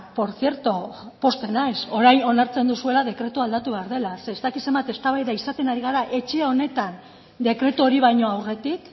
por cierto pozten naiz orain onartzen duzuela dekretua aldatu behar dela ze ez dakit zenbat eztabaida izaten ari gara etxe honetan dekretu hori baino aurretik